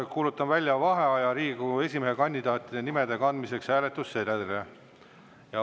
Kuulutan välja vaheaja Riigikogu esimehe kandidaatide nimede kandmiseks hääletamissedelile.